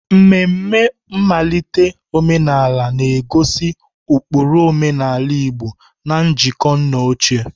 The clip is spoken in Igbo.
Ememe nmalite omenala na-egosi ụkpụrụ omenala Igbo na njikọ nna ochie.